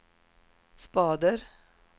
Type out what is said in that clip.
spader